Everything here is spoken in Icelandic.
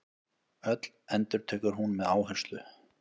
Öll, endurtekur hún með áherslu.